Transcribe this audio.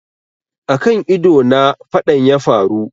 A kan ido na faɗan yafaru